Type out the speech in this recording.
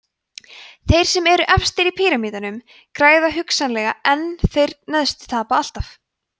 þeir sem eru efstir í píramídanum græða hugsanlega en þeir neðstu tapa alltaf